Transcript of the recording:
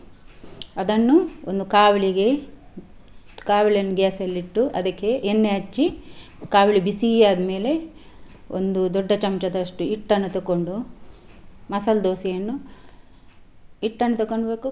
ಅದನ್ನು ಒಂದು ಕಾವಲಿಗೆ, ಕಾವಲಿಯನ್ನು gas ಅಲ್ಲಿ ಇಟ್ಟು ಅದಕ್ಕೆ ಎಣ್ಣೆ ಹಚ್ಚಿ ಕಾವಲಿ ಬಿಸಿ ಆದ್ಮೇಲೆ ಒಂದು ದೊಡ್ಡ ಚಮ್ಚದಷ್ಟು ಹಿಟ್ಟನ್ನ ತೊಕೊಂಡು ಮಸಾಲಾ ದೋಸಾ ಯನ್ನು ಹಿಟ್ಟನ್ ತಕೊಳ್ಬೇಕು.